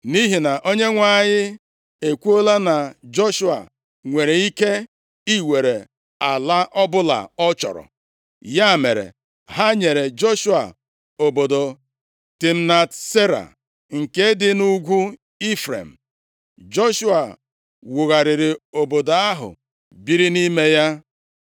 Nʼihi na Onyenwe anyị ekwuola na Joshua nwere ike iwere ala ọbụla ọ chọrọ. Ya mere, ha nyere Joshua obodo Timnat Sera nke dị nʼugwu Ifrem. Joshua wugharịrị obodo ahụ biri nʼime ya.